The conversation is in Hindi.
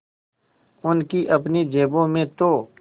उनकी अपनी जेबों में तो